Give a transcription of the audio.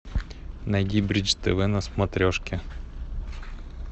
найди бридж тв на смотрешке